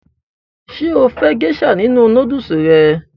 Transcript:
Ṣé o fẹ́ gésà nínu nódùsù rẹ?